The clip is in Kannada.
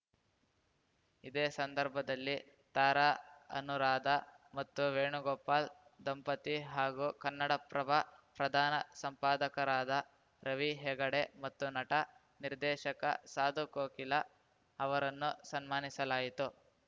ಇದೇ ಸಂದರ್ಭದಲ್ಲಿ ತಾರಾ ಅನೂರಾಧ ಮತ್ತು ವೇಣುಗೋಪಾಲ್‌ ದಂಪತಿ ಹಾಗೂ ಕನ್ನಡಪ್ರಭ ಪ್ರಧಾನ ಸಂಪಾದಕರಾದ ರವಿ ಹೆಗಡೆ ಮತ್ತು ನಟ ನಿರ್ದೇಶಕ ಸಾಧು ಕೋಕಿಲ ಅವರನ್ನು ಸನ್ಮಾನಿಸಲಾಯಿತು